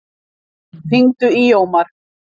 Guðstein, hringdu í Jómar.